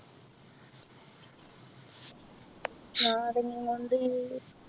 നാരങ്ങാ കൊണ്ട്